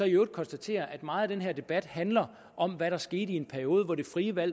øvrigt konstatere at meget af den her debat handler om hvad der skete i en periode hvor det frie valg